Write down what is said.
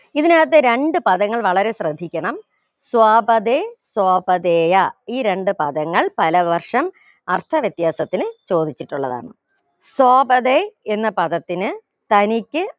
ഇതിനകത്ത് രണ്ട് പദങ്ങൾ വളരെ ശ്രദ്ധിക്കണം സ്വാപതേ സ്വപാഥേയ ഈ രണ്ട് പദങ്ങൾ പലവർഷം അർത്ഥവ്യത്യാസത്തിന് ചോദിച്ചിട്ടുള്ളതാണ് സ്വാപതേ എന്ന പദത്തിന് തനിക്ക്